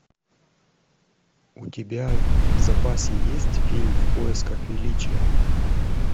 у тебя в запасе есть фильм в поисках величия